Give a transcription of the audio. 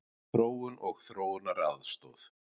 Þróun og þróunaraðstoð.